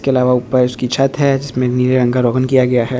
के अलावा ऊपर इसकी छत हैं जिसमे नीले रंग का रोगन किया गया हैं।